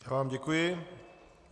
Já vám děkuji.